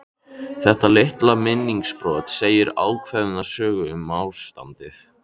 Þetta litla minningarbrot segir ákveðna sögu um ástandið.